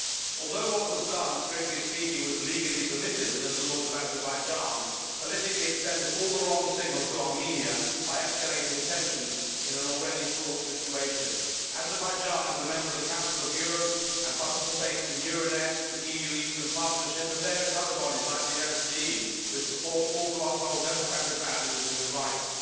Although what was done was strictly speaking legally permitted within the laws of Azerbaijan, politically it sends all the wrong signals to Armenia by escalating tensions in an already fraught situation. Azerbaijan is a member of the Council of Europe and participates in Euronest, the EU Eastern Partnership and various other bodies, like the OSCE, which all purport to uphold democratic values and human rights.